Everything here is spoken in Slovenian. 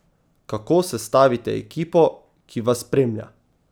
Kako sestavite ekipo, ki vas spremlja?